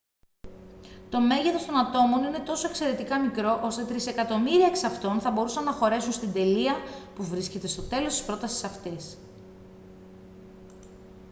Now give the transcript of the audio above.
το μέγεθος των ατόμων είναι τόσο εξαιρετικά μικρό ώστε τρισεκατομμύρια εξ αυτών θα μπορούσαν να χωρέσουν στην τελεία που βρίσκεται στο τέλος της πρότασης αυτής